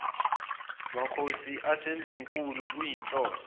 makhosi asendlunkulu kuyinhloso